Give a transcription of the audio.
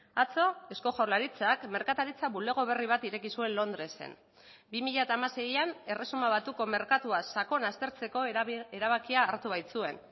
atzo eusko jaurlaritzak merkataritza bulego berri bat ireki zuen londresen bi mila hamaseian erresuma batuko merkatua sakon aztertzeko erabakia hartu baitzuen